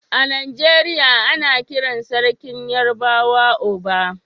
A Najeriya ana kiran Sarkin Yarbawa Oba.